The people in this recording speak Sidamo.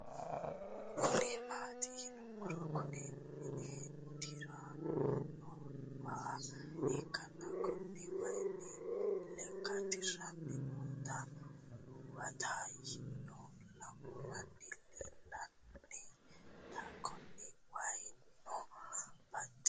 Kuni mati yinumo Kuni imin diran no waa ikana Kuni wayino Ike diran noota huwatayi no lamu Mani leelanta Kuni wayino baxisanoho